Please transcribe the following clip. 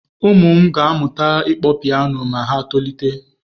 Ụm ụ m ga-amụta ịkpọ piano ma ha tolite.